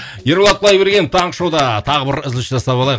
ерболат құдайбергенов таңғы шоуда тағы бір үзіліс жасап алайық